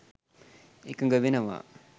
එකඟ වෙනවා.